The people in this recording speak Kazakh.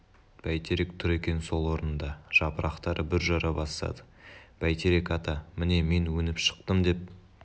бәйтерек тұр екен сол орнында жапырақтары бүр жара бастады бәйтерек ата міне мен өніп шықтым деп